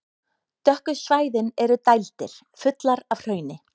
Dökku svæðin eru dældir, fullar af hrauni.